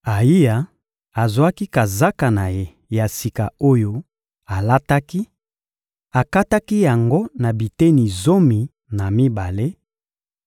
Ayiya azwaki kazaka na ye ya sika oyo alataki, akataki yango na biteni zomi na mibale